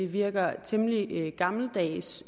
virker temmelig gammeldags